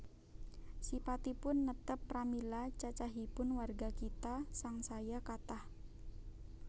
Sipatipun netep pramila cacahipun warga kitha sangsaya kathah